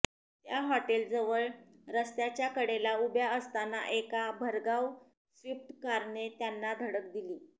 त्या हॉटेलजवळ रस्त्याच्या कडेला उभ्या असताना एका भरधाव स्विफ्ट कारने त्यांना धडक दिली